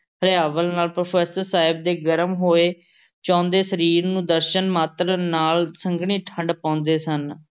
ਹਰਿਆਵਲ ਨਾਲ਼ professor ਸਾਹਿਬ ਦੇ ਗਰਮ ਹੋਏ ਚੋਂਦੇ ਸਰੀਰ ਨੂੰ ਦਰਸ਼ਨ ਮਾਤਰ ਨਾਲ਼ ਸੰਘਣੀ ਠੰਢ ਪਾਉਂਦੇ ਸਨ,